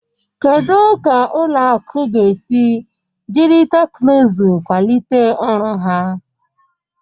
Kedu ka ụlọ akụ ga-esi jiri teknụzụ kwalite ọrụ ha?